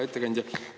Hea ettekandja!